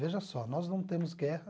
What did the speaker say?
Veja só, nós não temos guerra.